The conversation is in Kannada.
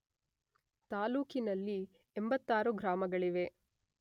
ತಾಲ್ಲೂಕಿನಲ್ಲಿ 86 ಗ್ರಾಮಗಳಿವೆ.